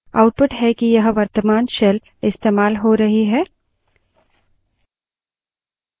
यह outputs है कि वर्तमान shell इस्तेमाल हो रही है